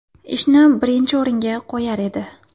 Ishni birinchi o‘ringa qo‘yar edi.